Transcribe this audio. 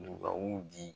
U ka u di